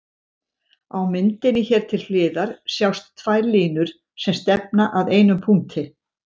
Á myndinni hér til hliðar sjást tvær línur sem stefna að einum punkti.